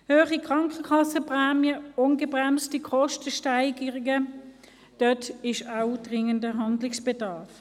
Hohe Krankenkassenprämien, ungebremste Kostensteigerungen – dort besteht auch dringender Handlungsbedarf.